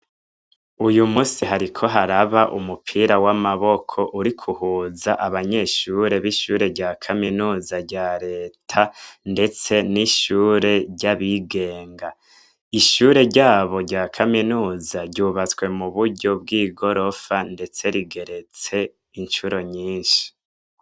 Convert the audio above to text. Uyu musi hariko haraba umupira w'amaboko uriko uhuza abanyeshure b'ishure rya kaminuza rya Reta, ndetse n'ishure ry'abigenga. Ishure ryabo rya kaminuza ryubatswe mu buryo bw'igorofa, ndetse rigeretse incuro nyishi.